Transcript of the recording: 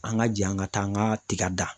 An ka jan ka taa an ka tiga da.